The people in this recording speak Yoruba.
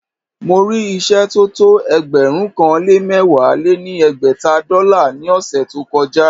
Mo rí ìṣẹ́ tó tó ẹgbẹ̀rún kan lé mẹ̀wá lé ní ẹgbẹ́ta dọ́là ní ọ̀ṣẹ̀ tó kọ já